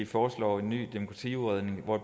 foreslår en ny demokratiudredning hvor